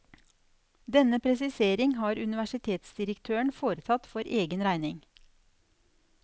Denne presisering har universitetsdirektøren foretatt for egen regning.